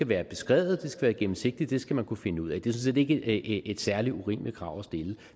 været beskrevet være gennemsigtige dem skal man kunne finde ud af det er sådan set ikke et særlig urimeligt krav at stille